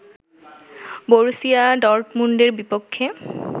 Borussia ডর্টমুন্ডের বিপক্ষে